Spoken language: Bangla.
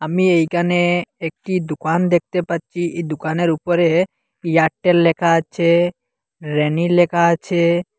আমি এইকানে একটি দুকান দেখতে পাচ্চি এই দুকানের উপরে এয়ারটেল লেখা আছে ব়্যানি লেখা আছে।